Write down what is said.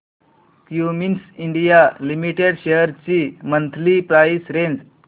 Cummins India limited shares ची monthly price range